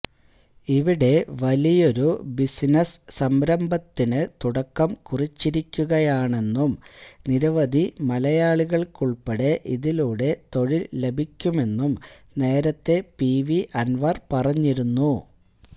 ഇവിടെ വലിയൊരു ബിസിനസ് സംരഭത്തിന് തുടക്കം കുറിച്ചിരിക്കുകയാണെന്നും നിരവധി മലയാളികൾക്കുൾപ്പെടെ ഇതിലൂടെ തൊഴിൽ ലഭിക്കുമെന്നും നേരത്തെ പിവി അൻവർ പറഞ്ഞിരുന്നു